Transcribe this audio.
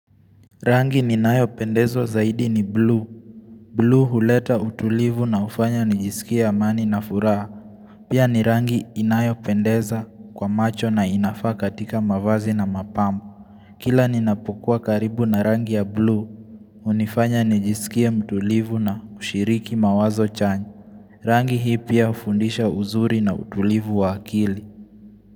Rangi inayopendeza zaidi ni buluu. Buluu huleta utulivu na hufanya nijisikie amani na furaha Pia ni rangi inayo pendeza kwa macho na inafaa katika mavazi na mapambo Kila ninapukuwa karibu na rangi ya buluu hunifanya nijisikie mtulivu na kushiriki mawazo chanyi Rangi hii pia hufundisha uzuri na utulivu wa akili.